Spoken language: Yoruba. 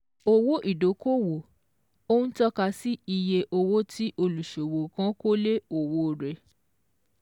Owó ìdókòòwò: Ó ń tọ́ka sí iye owó tí olùṣòwò kan kó lé òwò rẹ̀.